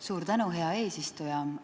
Suur tänu, hea eesistuja!